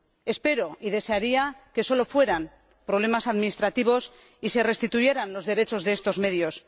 Espero y desearía que solo fueran problemas administrativos y se restituyeran los derechos de estos medios.